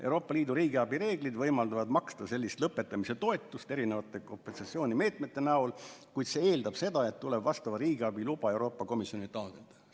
Euroopa Liidu riigiabireeglid võimaldavad maksta lõpetamise toetust kompensatsioonimeetmete näol, kuid see eeldab seda, et tuleb Euroopa Komisjonilt taotleda vastav riigiabiluba.